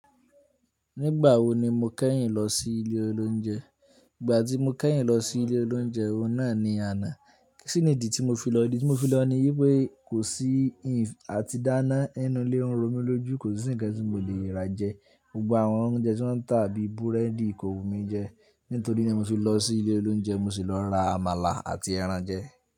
Nígbà wo ni mo kẹ́yìn lọ sí ilé olóúnjẹ? Ìgbà tí mo kẹ́yìn lọ sí ilé olóúnjẹ, oun na ni àná. Kíni ìdí tí mo fi lọ? Ìdí tí mo fi lọ ni wípé kò sí ìf àti dáná nínú ilé oún oun romi lójú. Kò sí ńǹkan tí mo leè rà jẹ. Gbogbo àwọn oúnjẹ tí wọ́n ń tà bí búrẹ́dì kò wù mí jẹ. Nítorí náà mo fi lọ sí ilé olóúnjẹ, mo sì lọ ra àmàlà àti ẹran jẹ.